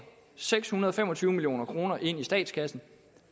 seks hundrede og fem og tyve million kroner ind i statskassen